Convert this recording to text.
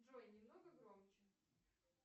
джой немного громче